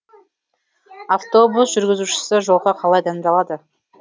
автобус жүргізушісі жолға қалай дайындалады